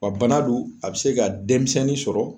Wa bana don a be se ka denmisɛnnin sɔrɔ